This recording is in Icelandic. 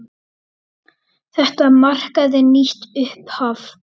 Þetta markaði nýtt upphaf.